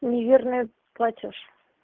неверное платёж